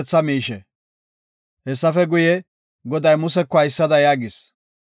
Hessafe guye, Goday Museko haysada yaagis;